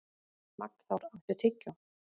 Magnþór, áttu tyggjó?